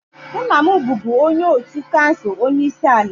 nna m bụbu onye otu kansụl onye isi ala